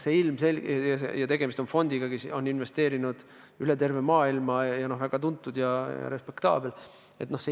Tegemist oli fondiga, kes oli investeerinud üle terve maailma, väga tuntud ja respektaabel.